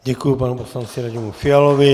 Děkuji panu poslanci Radimu Fialovi.